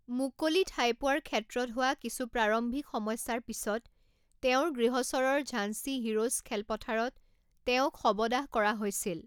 মুকলি ঠাই পোৱাৰ ক্ষেত্ৰত হোৱা কিছু প্ৰাৰম্ভিক সমস্যাৰ পিছত তেওঁৰ গৃহচহৰৰ ঝান্সী হিৰোজ খেলপথাৰত তেওঁক শৱদাহ কৰা হৈছিল।